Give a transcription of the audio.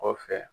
Kɔfɛ